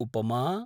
उपमा